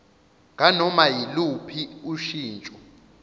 nganoma yiluphi ushintsho